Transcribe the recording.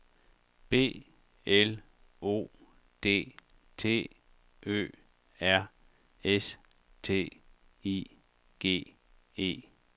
B L O D T Ø R S T I G E